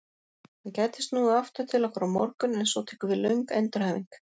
Hann gæti snúið aftur til okkar á morgun en svo tekur við löng endurhæfing.